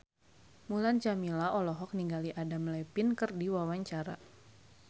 Mulan Jameela olohok ningali Adam Levine keur diwawancara